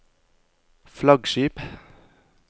flaggskip